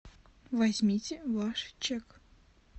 возьмите ваш чек